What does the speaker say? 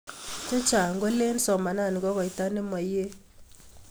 Che Chang kolin somanani ko koita nemayeei